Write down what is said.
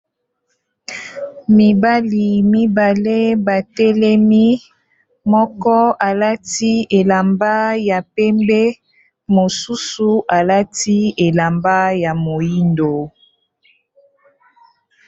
Mibali mibale ba telemi, moko alati elamba ya pembe mosusu alati elamba ya moyindo.